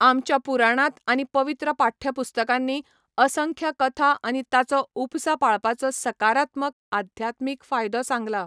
आमच्या पुराणांत आनी पवित्र पाठ्यपुस्तकांनी असंख्य कथा आनी ताचो उपसा पाळपाचो सकारात्मक आध्यात्मीक फायदो सांगला.